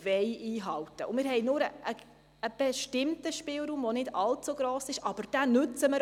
Wir haben nur einen relativ kleinen Spielraum, aber wir nutzen ihn.